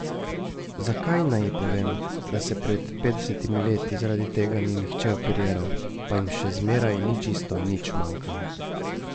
Zakaj naj ji povem, da se pred petdesetimi leti zaradi tega ni nihče operiral, pa jim še zmeraj ni čisto nič manjkalo?